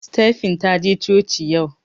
Stephen taje coci yau